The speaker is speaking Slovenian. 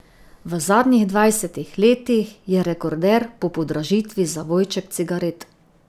V zadnjih dvajsetih letih je rekorder po podražitvi zavojček cigaret.